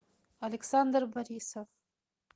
александр борисов